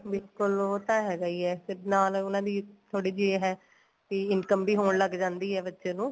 ਬਿਲਕੁਲ ਉਹ ਤਾਂ ਹੈਗਾ ਈ ਏ ਫੇਰ ਨਾਲ ਉਹਨਾ ਦੀ ਥੋੜੀ ਜੀ ਹੈ ਬੀ income ਵੀ ਹੋਣ ਲੱਗ ਜਾਂਦੀ ਏ ਬੱਚੇ ਨੂੰ